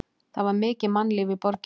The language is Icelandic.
Það var mikið mannlíf í borginni.